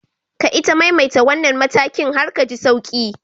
Ka ita maimaita wannan matakin har ka ji sauki.